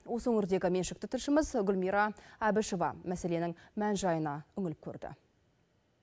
осы өңірдегі меншікті тілшіміз гүлмира әбішева мәселенің мән жайына үңіліп көрді